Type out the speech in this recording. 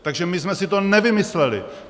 - Takže my jsme si to nevymysleli.